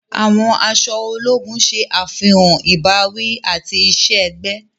Àwọn aṣọ ológùn ṣe àfihàn ìbáwí ati iṣẹ-ẹgbẹ.